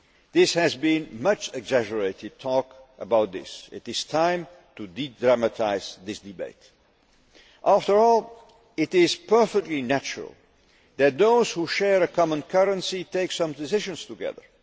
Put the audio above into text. There has been much exaggerated talk about this it is time to de dramatise this debate. After all, it is perfectly natural that those who share a common currency take some decisions together.